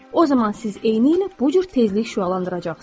o zaman siz eynilə bu cür tezlik şüalandıracaqsınız.